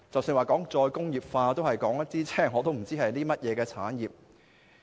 談到再工業化，我也不知道涉及甚麼產業。